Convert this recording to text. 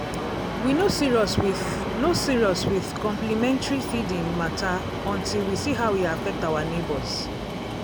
we no serious with no serious with complementary feeding matter until we see how e affect our neighbors.